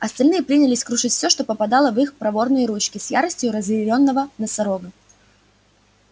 остальные принялись крушить всё что попадало в их проворные ручки с яростью разъярённого носорога